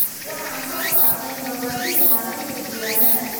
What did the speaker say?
Waxaan soo saarnay mabaadi'da maaraynta diiwaannada.